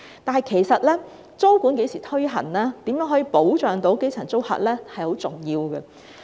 然而，租務管制何時推行，以及如何保障基層租客，也甚為重要。